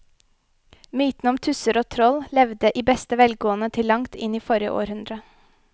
Mytene om tusser og troll levde i beste velgående til langt inn i forrige århundre.